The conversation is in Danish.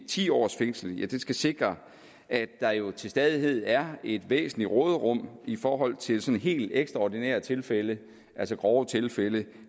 ti års fængsel skal sikre at der jo til stadighed er et væsentligt råderum i forhold til til helt ekstraordinære tilfælde altså grove tilfælde